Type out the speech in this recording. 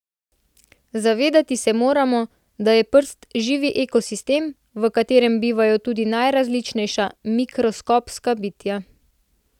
Zavedati se moramo, da je prst živi ekosistem, v katerem bivajo tudi najrazličnejša mikroskopska bitja.